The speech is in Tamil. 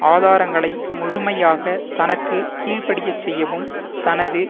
ஆதாரங்களை முழுமையாக தனக்கு கீழ்படியச்செய்யவும் தனது